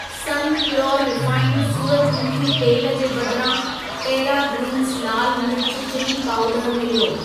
सन pure refined सूरजमुखी तेलु जे बदिरां टेरा ग्रीन्स लाल मिर्चु चिली पाउडर मिलियो।